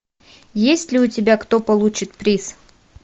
есть ли у тебя кто получит приз